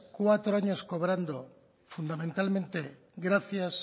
cuatro años cobrando fundamentalmente gracias